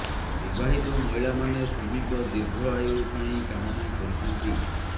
ବିବାହିତ ମହିଳାମାନେ ସ୍ୱାମୀଙ୍କ ଦୀର୍ଘ ଆୟୁ ପାଇଁ କାମନା କରିଥାନ୍ତି